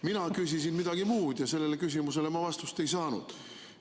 Mina küsisin midagi muud ja sellele küsimusele ma vastust ei saanud.